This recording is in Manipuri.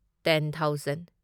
ten thousand